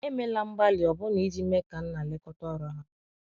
emela mgbali ọbụna ijii mee ka nna lekota ọrụ ha